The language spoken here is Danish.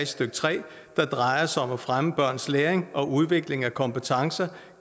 skal tre der drejer sig om at fremme børns læring og udvikling af kompetencer